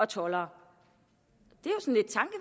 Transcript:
toldere